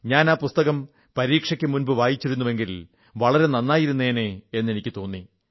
ഞാൻ ആ പുസ്തകം പരീക്ഷയ്ക്കു മുമ്പു വായിച്ചിരുന്നെങ്കിൽ വളരെ നന്നായിരുന്നേനെ എന്നെനിക്കു തോന്നി